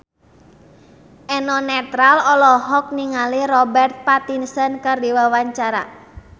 Eno Netral olohok ningali Robert Pattinson keur diwawancara